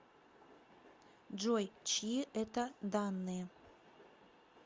джой чьи это данные